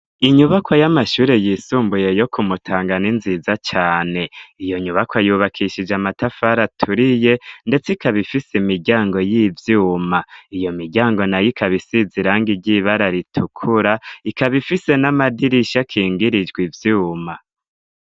Inyubakwa y'amashure yisumbuye yo kumutangana ni nziza cane. Iyonyubakwa yubakishije amatafari aturiye ndetse ikaba ifise imiryango y'ivyuma iyomiryango nay'ikabisize irangi ry'ibara ritukura ikaba ifise n'amadirisha akingirijwe ivyuma.